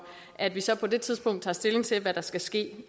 at vi så på det tidspunkt tager stilling til hvad der skal ske